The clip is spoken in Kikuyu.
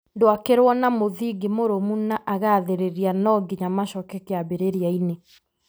ndwakĩrwo na mũthingi mũrũmu na agathĩrĩria no nginya macoke kiambĩrĩria-inĩ.